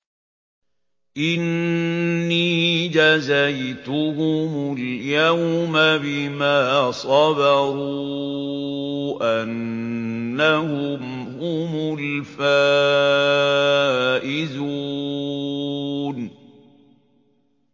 إِنِّي جَزَيْتُهُمُ الْيَوْمَ بِمَا صَبَرُوا أَنَّهُمْ هُمُ الْفَائِزُونَ